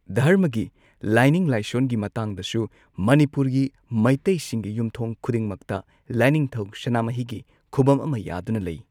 ꯙꯔꯃꯒꯤ ꯂꯥꯏꯅꯤꯡ ꯂꯥꯏꯁꯣꯟꯒꯤ ꯃꯇꯥꯡꯗꯁꯨ ꯃꯅꯤꯄꯨꯔꯒꯤ ꯃꯩꯇꯩꯁꯤꯡꯒꯤ ꯌꯨꯝꯊꯣꯡ ꯈꯨꯗꯤꯡꯃꯛꯇ ꯂꯥꯏꯅꯤꯡꯊꯧ ꯁꯅꯥꯃꯍꯤꯒꯤ ꯈꯨꯕꯝ ꯑꯃ ꯌꯥꯗꯨꯅ ꯂꯩ꯫